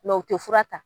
u tɛ fura ta